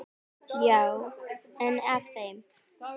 Já, einn af þeim